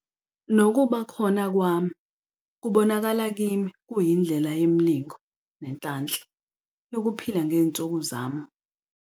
nokuba khona kwami kubonakala kimi kuyindlela yemilingo nenhlanhla yokuphila ngezinsuku zami" ".